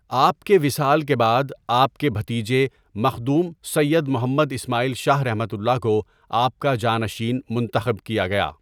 آپ کے وصال کے بعد آپ کے بھتیجے مخدوم سیّد محمد اسمٰعیل شاہ ؒ کو آپ کا جانشین منتخب کیا گیا.